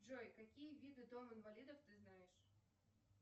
джой какие виды дом инвалидов ты знаешь